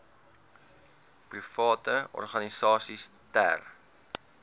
private organisasies ter